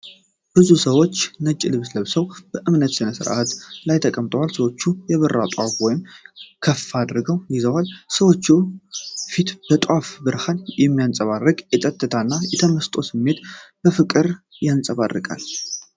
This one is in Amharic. ብዙ ሰዎች ነጭ ልብስ ለብሰው በእምነት ሥነ ሥርዓት ላይ ተቀምጠዋል። ሰዎች የበራ ጧፍ ወደ ላይ ከፍ አድርገው ይዘዋል። የሰዎቹ ፊት በጧፉ ብርሃን ሲያንጸባርቅ፣ የጸጥታና የተመስጦ ስሜትን በፍቅር ያንጸባርቃል።